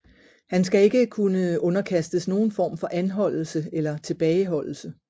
Han skal ikke kunne underkastes nogen form for anholdelse eller tilbageholdelse